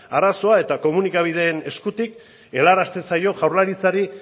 arazoa eta komunikabideen eskutik helarazten zaio jaurlaritzari